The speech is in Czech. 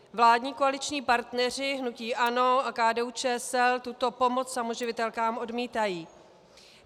Vládní koaliční partneři, hnutí ANO a KDU ČSL, tuto pomoc samoživitelkám odmítají.